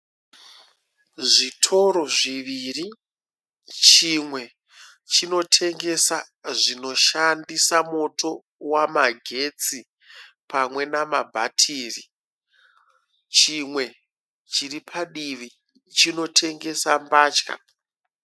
Zvitoro zviviri. Chimwe chinotengesa zvinoshandisa moto wamagetsi pamwe namabhatiri. Chimwe chiri padivi chinotengesa mbatya.